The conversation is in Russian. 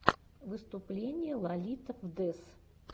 выступление лолито фдез